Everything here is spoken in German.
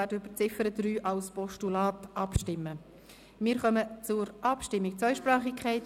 Wir kommen zur Abstimmung über den Vorstoss «Zweisprachigkeit: